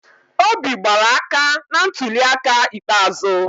Obi gbara aka na ntuliaka ikpeazụ.